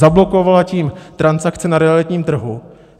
Zablokovala tím transakce na realitním trhu.